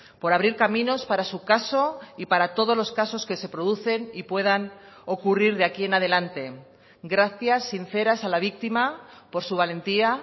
por abrir caminos para su caso y para todos los casos que se producen y puedan ocurrir de aquí en adelante gracias sinceras a la víctima por su valentía